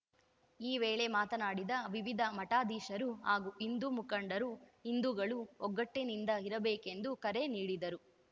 ಈ ವೇಳೆ ಮಾತನಾಡಿದ ವಿವಿಧ ಮಠಾಧೀಶರು ಹಾಗೂ ಹಿಂದೂ ಮುಖಂಡರು ಹಿಂದುಗಳು ಒಗ್ಗಟ್ಟಿನಿಂದ ಇರಬೇಕೆಂದು ಕರೆ ನೀಡಿದರು